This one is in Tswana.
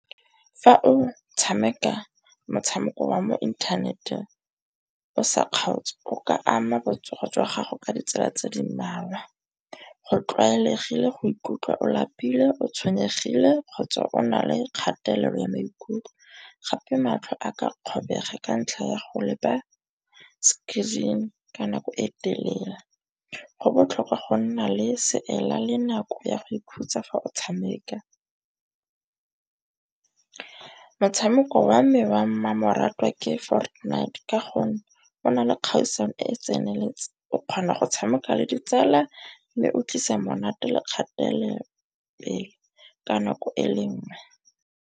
Fa o tshameka motshameko wa mo inthaneteng o sa kgaotse o ka ama botsogo jwa gago ka ditsela tse di mmalwa. Go tlwaelegile go ikutlwa o lapile, o tshwenyegile kgotsa o na le kgatelelo ya maikutlo. Gape matlho a ka kgobega ka ntlha ya go lepa screen ka nako e telele. Go botlhokwa go nna le seela le nako ya go ikhutsa fa o tshameka. Motshameko wa me wa mmamoratwa ke Fortnite. Ka gonne go na le kgaisano e e tseneletseng. O kgona go tshameka le ditsala mme o tlisa monate le kgatelelopele ka nako e le nngwe.